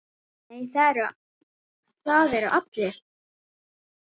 Nei, það eru allir.